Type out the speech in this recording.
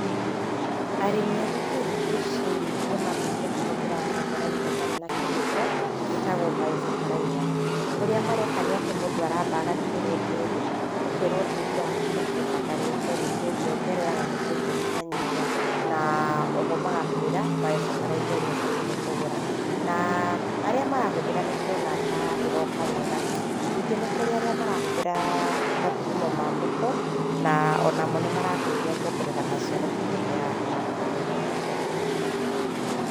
Arĩmĩ a gũitũ thĩkũ ici nĩ mambĩtie kũhũthĩra bataraitha ĩtarĩ na chemical, ĩtagwo bio bataraitha. Ũrĩa mareka mũndũ aramba gũthimĩrwo tĩri, ũkerwo tĩri wakũ nĩkĩĩ ũbatarĩte, nĩkĩĩ ũngĩongerera na nĩkĩĩ ũngĩnyiha nyihia. Na oho magakũĩra bio bataraitha ĩrĩa ũbatiĩ nĩ kũgũra. Na arĩa marahũthĩra nĩ ndĩrona ta ĩroka wega. Ningĩ nĩ kũrĩ arĩa marahũthĩra mathũgũmo mambũkũ, na onamo nĩ marateithia kuongerera maciaro ta marĩa marakoragwo nahau kabere.